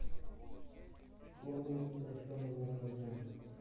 формулы сокращенного умножения